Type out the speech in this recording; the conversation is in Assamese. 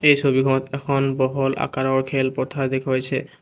এই ছবিখনত এখন বহল আকাৰৰ খেল পথাৰ দেখুৱাইছে।